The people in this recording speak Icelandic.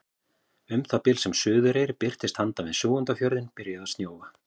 Um það bil sem Suðureyri birtist handan við Súgandafjörðinn byrjaði að snjóa.